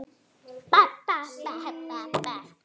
Á hvað hefur ekki reynt?